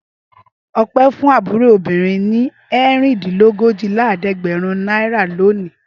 Ọpẹ́ fún àbúrò rẹ̀ obìnrin ní ẹ̀rìndínlójìlélẹ́ẹ̀dẹ́gbẹ̀rún náírà lónìí.